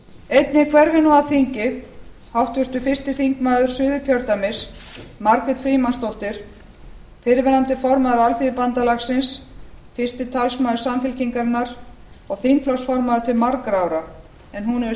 einnig hverfur nú af þingi háttvirtur fyrsti þingmaður suðurkjördæmis margrét frímannsdóttir fyrrverandi formaður alþýðubandalagsins fyrsti talsmaður samfylkingarinnar og þingflokksformaður til margra ára en hún hefur